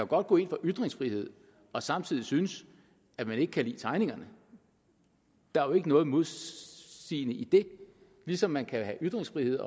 godt gå ind for ytringsfrihed og samtidig synes at man ikke kan lide tegningerne der er jo ikke noget modsigende i det ligesom man kan have ytringsfrihed